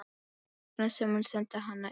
Þess vegna sem hún sendi hana inn.